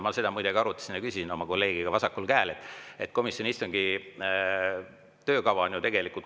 Ma seda muide arutasin oma kolleegiga vasakul käel ja küsisin selle kohta.